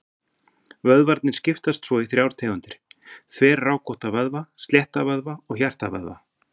Vöðvarnir skiptast svo í þrjár tegundir: Þverrákótta vöðva, slétta vöðva og hjartavöðva.